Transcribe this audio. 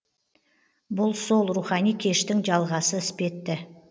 бұл сол рухани кештің жалғасы іспетті